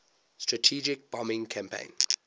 strategic bombing campaign